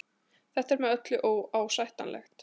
Þetta er með öllu óásættanlegt